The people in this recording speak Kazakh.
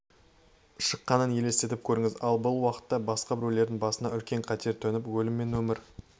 шыққанын елестетіп көріңіз ал бұл уақытта басқа біреудің басына үлкен қатер төніп өлім мен өмір